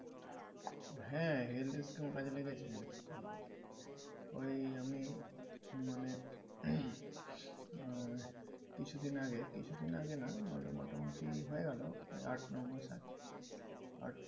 হ্যাঁ health scheme কাজে লেগেছে। ঐ আমি মানে আহ কিছুদিন আগে, কিছুদিন আগে নাহ মানে মোটামুটি হয়ে গেলে ঐ আট নয় মাস আগে